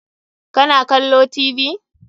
Ka na kallo Tv?